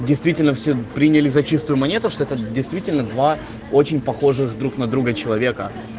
действительно все приняли за чистую монету что это действительно два очень похожих друг на друга человека